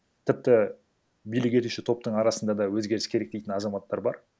тіпті билік етуші топтың арасында да өзгеріс керек дейтін азаматтар бар